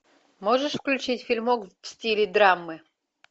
можешь включить фильмок в стиле драмы